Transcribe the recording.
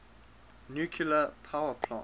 nuclear power plant